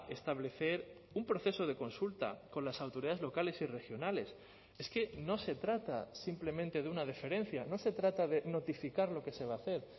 establecer un proceso de consulta con las autoridades locales y regionales es que no se trata simplemente de una deferencia no se trata de notificar lo que se va a hacer